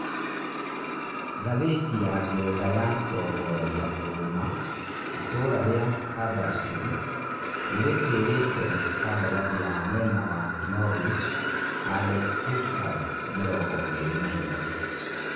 (Ngathĩti ya Ngeretha ya kũrongoreria ũũma) itũũra rĩa Huddersfield nĩrĩtĩrĩte kandarathi ya mwena wa Norwich Alex Pritchard mĩrongo ĩrĩ na inya